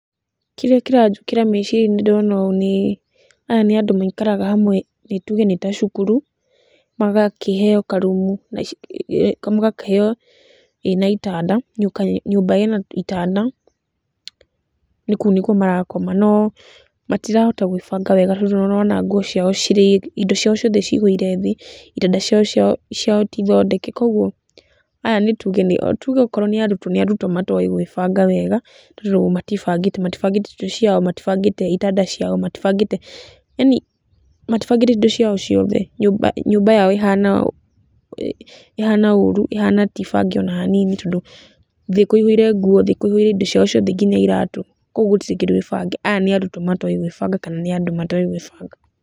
Kĩrĩa kĩranjũkĩra mecirĩa~inĩ ndona ũ nĩ aya nĩ andũ maikaraga hamwe nĩ tũge nĩta cukuru magakĩheo karumu magakĩheo ĩna itanda, nyũmba ĩna itanda. Nĩkũ nĩkũo marakoma no matirahota gwĩbanga wega tondũ nĩũrona ona indo ciao ciothe cigũire thĩ, itanda ciao tithondeke. Kogwo tũge okorwo nĩ arũtwo nĩ arũtwo matoĩ gwĩbanga wega, tondũ rĩũ matibangĩte indo ciao matibangĩte itanda ciao matibangĩte yani matibangĩte indo cia ciothe. Nyũmba yao ĩhana ũrũ ĩhana tibange ona hanini tondũ thĩ kũihũire nguo ,thĩ kũihũire indo ciao ciothe nginya iratũ kogwo gũtirĩ kĩndũ gbange. Aya nĩ arũtwo matoĩ gwĩbanaga kana nĩ andũ matoĩ gwĩbanga.